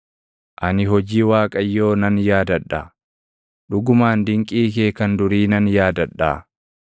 Ani hojii Waaqayyoo nan yaadadha; dhugumaan dinqii kee kan durii nan yaadadhaa.